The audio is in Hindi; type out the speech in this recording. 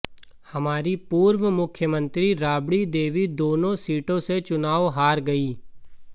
हमारी पूर्व मुख्यमंत्री राबड़ी देवी दोनों सीटों से चुनाव हार गईं